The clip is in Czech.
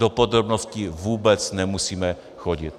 Do podrobností vůbec nemusíme chodit.